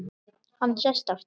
Hann sest aftur.